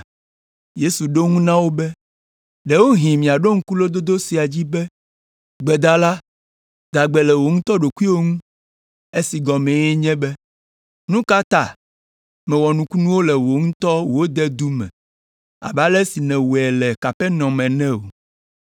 Yesu ɖo eŋu na wo be, “Ɖewohĩ miaɖo ŋku lododo sia adzi be, ‘Gbedala, da gbe le wò ŋutɔ ɖokuiwò ŋu’ esi gɔmee nye be, ‘Nu ka ta mèwɔ nukunuwo le wò ŋutɔ wò dedu me abe ale si nèwɔe le Kapernaum ene o?’